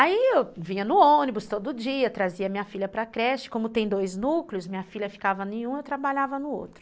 Aí eu vinha no ônibus todo dia, trazia minha filha para creche, como tem dois núcleos, minha filha ficava em um e eu trabalhava no outro.